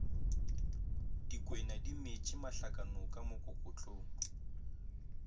dikwena di metše mahlakanoka mokokotlong